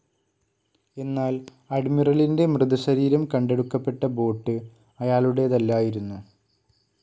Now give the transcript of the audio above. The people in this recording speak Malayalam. എന്നാൽ അഡ്മിറലിൻ്റെ മൃതശരീരംകണ്ടെടുക്കപ്പെട്ട ബോട്ട്‌ അയാളുടേതല്ലായിരുന്നു.